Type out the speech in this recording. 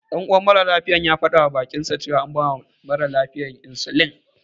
Ɗan uwan maralafiyar ya faɗawa baƙinsa cewa an bawa ɗan mara lafiyarsa insulin.